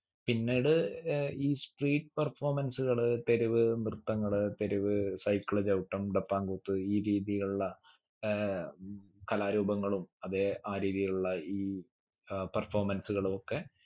പിന്നീട് ഏർ ഈ street performance കള് തെരുവ് നൃത്തങ്ങള് തെരുവ് cycle ചവിട്ടം ഡപ്പാൻ കൂത്ത് ഈ രീതിയിലുള്ള ഏർ ഉം കലാ രൂപങ്ങളും അതെ ആ രീതിയിലുള്ള ഈ ഏർ performance കളു ഒക്കെ